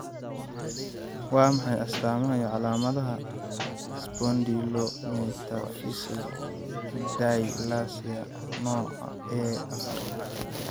Waa maxay astamaha iyo calaamadaha Spondylometaphyseal dysplasia nooca A afar?